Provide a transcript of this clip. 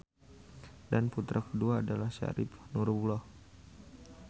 Dan putra kedua adalah Syarif Nurullah.